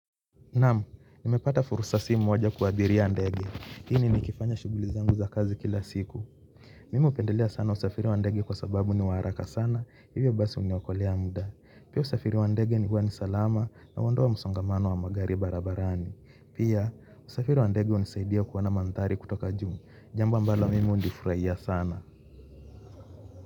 Naam, nimepata fursa si moja kuabiria ndege. Hi ni nikifanya shughuli zangu za kazi kila siku. Mimi hupendelea sana usafiri wa ndege kwa sababu ni wa haraka sana, hivyo basi huniokolea muda. Pia usafiri wa ndege ni huwa ni salama na huondoa msongamano wa magari barabarani. Pia, usafiri wa ndege hunisaidia kuona manthari kutoka juu. Jambo ambalo mimi hulifurahia sana.